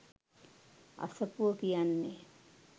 අසපුව කියන්නේ